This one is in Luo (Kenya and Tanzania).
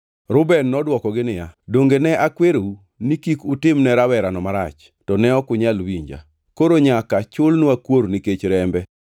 Negiwacho e kindgi giwegi niya, “Adier kum ni waseyudo nikech owadwa. Ne waneno ka chunye chandore kane osayowa mondo wares ngimane to ne ok wanyal winje. Ma ema omiyo chandruogni osebironwa.”